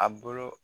A bolo